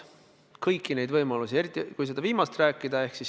On kaalutud kõiki neid võimalusi, eriti seda viimast.